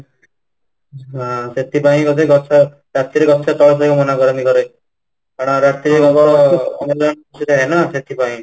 ହଁ, ସେଥିପାଇଁ ବୋଧେ ଗଛ ରାତି ରେ ଗଛ ତଳେ ଶୋଇବାକୁ ମନା କରନ୍ତି ଘରେ କାରଣ ରାତିରେ ଆମର ଅମ୍ଳଜାନ ସେଥିପାଇଁ